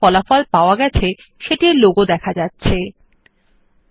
search বারের বাঁদিকে search engine এর লোগো যা ফলাফল আনতে ব্যবহার করা হয় দেখা যায়